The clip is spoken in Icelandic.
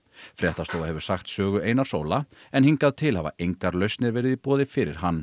fréttastofa hefur sagt sögu Einars Óla en hingað til hafa engar lausnir verið í boði fyrir hann